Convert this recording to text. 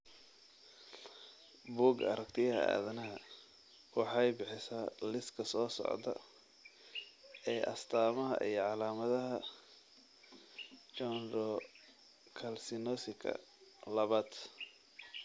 Bugga Aragtiyaha Aadanaha waxay bixisaa liiska soo socda ee astaamaha iyo calaamadaha Chondrocalcinosika labad.